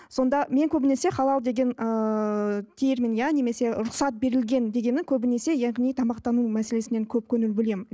сонда мен көбінесе халал деген ыыы термин иә немесе рұхсат берілген дегені көбінесе яғни тамақтану мәселесіне көп көңіл бөлемін